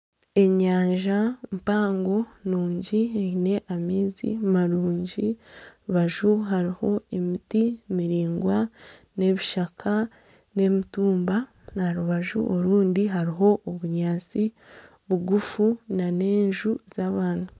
Enyanja mpango nungi eine amaizi marungi aha rubaju hariho emiti miraingwa n'ebishaka, n'emitumba aha rubaju orundi hariho obunyaatsi bugufu n'enju z'abantu.